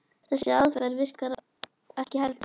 Þessi aðferð virkar ekki heldur.